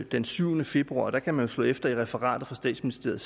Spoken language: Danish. den syvende februar og der kan man jo slå efter i referatet fra statsministeriet